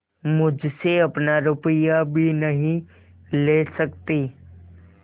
मुझसे अपना रुपया भी नहीं ले सकती